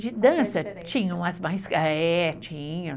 De dança, tinha.